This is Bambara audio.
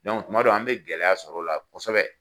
tuma dɔw an be gɛlɛya sɔrɔ o la kɔsɛbɛ.